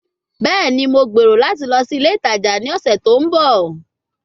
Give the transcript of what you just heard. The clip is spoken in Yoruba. Bẹẹni, Mo gbero lati lọ si ile itaja ni ọsẹ to nbọ